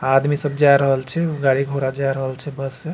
आदमी सब जाए रहल छै गाड़ी-घोड़ा जाए रहल छै बस हेय।